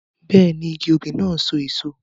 Bẹ́ẹ̀ni, igi òbí náà n so èso